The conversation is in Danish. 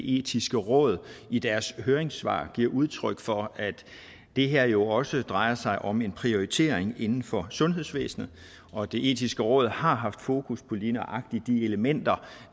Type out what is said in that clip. etiske råd i deres høringssvar giver udtryk for at det her jo også drejer sig om en prioritering inden for sundhedsvæsenet og det etiske råd har haft fokus på lige nøjagtig de elementer